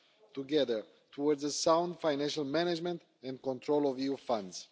together towards sound financial management and control of EU funds.